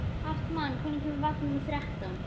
Hartmann, hvenær kemur vagn númer þrettán?